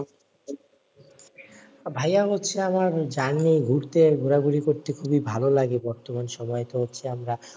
ভাইয়া হচ্ছে আমার journey ঘুরতে ঘোরা ঘুরি করতে খুবই ভালো লাগে বর্তমান সময়ে তো হচ্ছে আমরা,